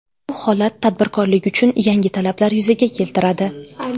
Bu holat tadbirkorlik uchun yangi talablar yuzaga keltiradi.